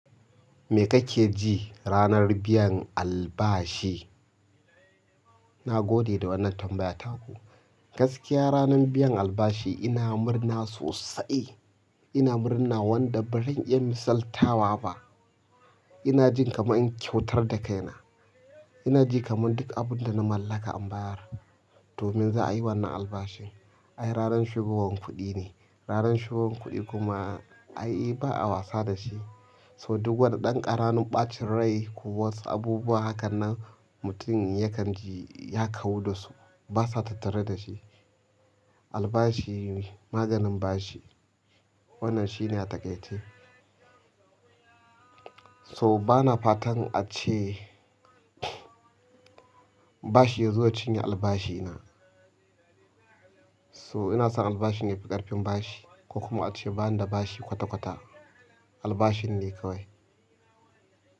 Me kake ji ranar biyan albashi? Na gode da wannan tambaya taku. Gaskiya ranar biyan albashi ina murna sosai. Ina murna wanda ba zan iya misaltawa ba. Ina jin kamar in kyautar da kaina. Ina ji kamar duk abin da na mallaka in bayar domin za a yi wannan albashin. Ai ranan shigowan kuɗi ne. Ranar shigowan kuɗi kuma ai ba a wasa da shi. So duk wani dan ƙaranum ɓacin rai ko wasu abubuwa hakan nan mutum ya kan ji ya kawu dasu basa tattare da shi. Albashi maganin bashi. Wannan shine a takaice. So bana fatan ace bashi ya zo ya cinye albashina. So ina son albashi ne fi ƙarfin bashi ko kuma ace bani da bashi kwata-kwata albashin ne kawai.